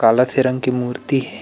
काला सी रंग की मूर्ति हे।